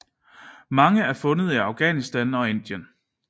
Mange er fundet i Afghanistan og Indien